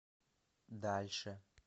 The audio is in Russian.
дальше